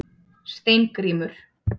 Steingrímur